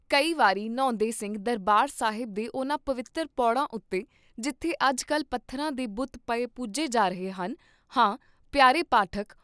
ਕਈ ਵਾਰੀ ਨ੍ਹਾਉਂਦੇ ਸਿੰਘ ਦਰਬਾਰ ਸਾਹਿਬ ਦੇ ਉਹਨਾਂ ਪਵਿੱਤ੍ਰ ਪੋੜਾਂ ਉਤੇ, ਜਿਥੇ ਅਜ ਕਲ ਪੱਥਰਾਂ ਦੇ ਬੁਤ ਪਏ ਪੂਜੇ ਜਾ ਰਹੇ ਹਨ, ਹਾਂ ਪਯਾਰੇ ਪਾਠਕ!